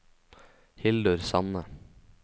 Hildur Sande